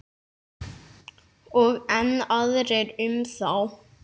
Og enn aðrir um þá.